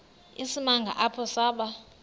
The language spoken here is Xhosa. isimanga apho saba